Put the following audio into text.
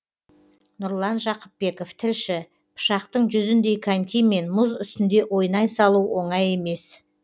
нұрлан жақыпбеков тілші пышақтың жүзіндей конькимен мұз үстінде ойнай салу оңай емес